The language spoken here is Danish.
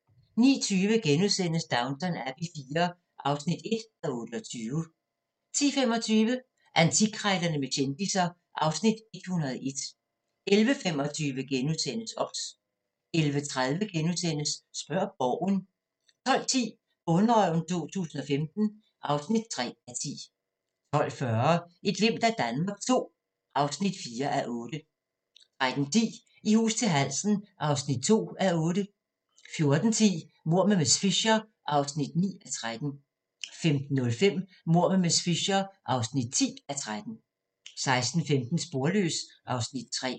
09:20: Downton Abbey IV (1:28)* 10:25: Antikkrejlerne med kendisser (Afs. 101) 11:25: OBS * 11:30: Spørg Borgen * 12:10: Bonderøven 2015 (3:10) 12:40: Et glimt af Danmark II (4:8) 13:10: I hus til halsen (2:8) 14:10: Mord med miss Fisher (9:13) 15:05: Mord med miss Fisher (10:13) 16:15: Sporløs (Afs. 3)